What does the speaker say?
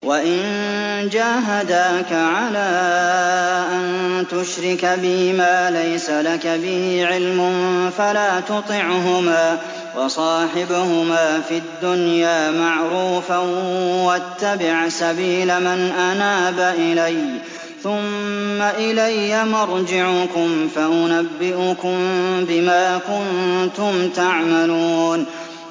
وَإِن جَاهَدَاكَ عَلَىٰ أَن تُشْرِكَ بِي مَا لَيْسَ لَكَ بِهِ عِلْمٌ فَلَا تُطِعْهُمَا ۖ وَصَاحِبْهُمَا فِي الدُّنْيَا مَعْرُوفًا ۖ وَاتَّبِعْ سَبِيلَ مَنْ أَنَابَ إِلَيَّ ۚ ثُمَّ إِلَيَّ مَرْجِعُكُمْ فَأُنَبِّئُكُم بِمَا كُنتُمْ تَعْمَلُونَ